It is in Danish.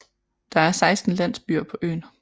Der er 16 landsbyer på øen